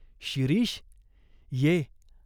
"शिरीष, ये.